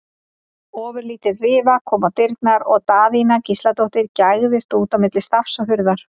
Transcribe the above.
Ofurlítil rifa kom á dyrnar og Daðína Gísladóttir gægðist út á milli stafs og hurðar.